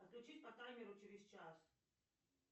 отключить по таймеру через час